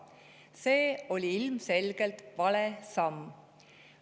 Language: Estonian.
See oli ilmselgelt vale samm.